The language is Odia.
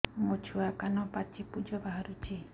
ମୋ ଛୁଆ କାନ ପାଚି ପୂଜ ବାହାରୁଚି